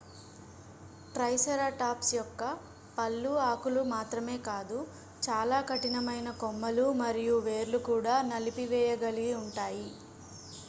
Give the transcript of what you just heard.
triceratops యొక్క పళ్ళు ఆకులు మాత్రమే కాదు చాలా కఠినమైన కొమ్మలు మరియు వేర్లు కూడా నలిపివేయగలిగి ఉంటాయి